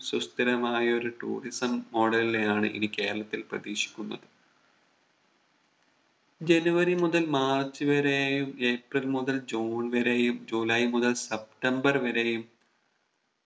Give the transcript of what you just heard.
സുസ്ഥിരമായ ഒരു Tourism model നെയാണ് ഇനി കേരളത്തിൽ പ്രധീക്ഷിക്കുന്നത് ജനുവരി മുതൽ മാർച്ച് വരെയും ഏപ്രിൽ മുതൽ ജൂൺ വരെയും ജൂലൈ മുതൽ സെപ്റ്റംബർ വരെയും